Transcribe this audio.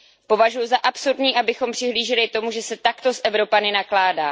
Považuji za absurdní, abychom přihlíželi tomu, že se takto s Evropany nakládá.